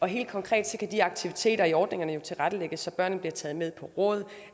helt konkret kan de aktiviteter i ordningerne jo tilrettelægges så børnene bliver taget med på råd